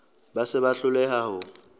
ba se ba hloleha ho